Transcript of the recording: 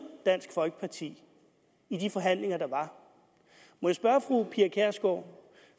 dansk folkeparti i de forhandlinger der var må jeg spørge fru pia kjærsgaard